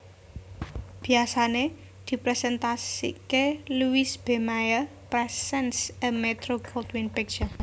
Biasané dipresentasiké Louis B Mayer presents a Metro Goldwyn picture